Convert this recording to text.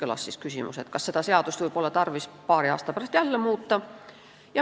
Seega kõlas küsimus, ega seda seadust pole tarvis paari aasta pärast jälle muuta.